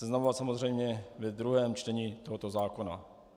Seznamovat samozřejmě ve druhém čtení tohoto zákona.